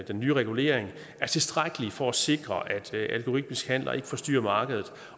den nye regulering er tilstrækkelig for at sikre at algoritmiske handler ikke forstyrrer markedet